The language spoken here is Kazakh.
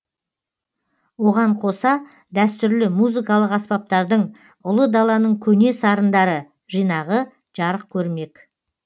оған қоса дәстүрлі музыкалық аспаптардың ұлы даланың көне сарындары жинағы жарық көрмек